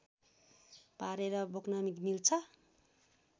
पारेर बोक्न मिल्छ